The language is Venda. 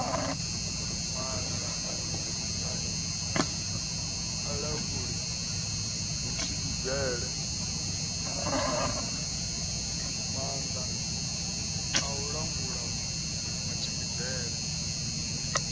maanda a i languli matshimbidzele